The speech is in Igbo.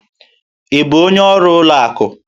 Ị bụ onye ọrụ ụlọ akụ?